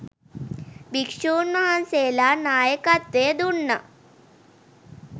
භික්ෂූන් වහන්සේලා නායකත්වය දුන්නා.